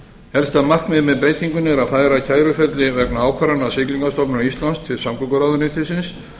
helsta markmiðið með breytingunni er að færa kæruferli vegna ákvarðana siglingastofnunar íslands til samgönguráðuneytisins